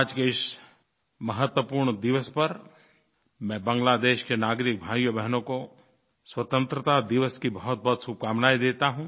आज के इस महत्वपूर्ण दिवस पर मैं बांग्लादेश के नागरिक भाइयोंबहनों को स्वतंत्रता दिवस की बहुतबहुत शुभकामनायें देता हूँ